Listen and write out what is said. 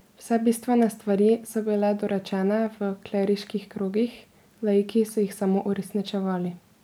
Vse bistvene stvari so bile dorečene v kleriških krogih, laiki so jih samo uresničevali.